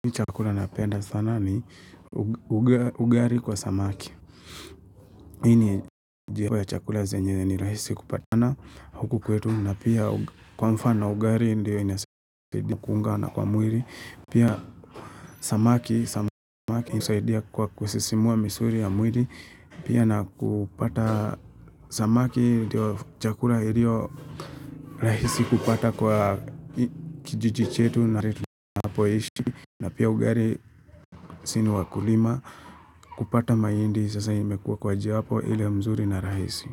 Ni chakula napenda sana ni ugari kwa samaki. Ini jia po ya chakula zenye ni rahisi kupata sana huku kwetu. Na pia kwa mfano ugari indiyo inasaidia na kuunga na kwa mwiri. Pia samaki kusaidia kwa kusisimua misuri ya mwiri. Pia na kupata samaki dio chakula ilio rahisi kupata kwa kijiji chetu na ritu napoishi. Na pia ugari sini wakulima kupata maindi sasa imekuwa kwa japo ile mzuri na rahisi.